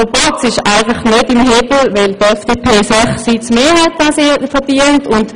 Der Proporz ist nicht im Lot, weil die FDP sechs Sitze mehr hat, als ihr zustehen.